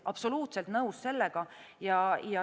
Absoluutselt nõus sellega.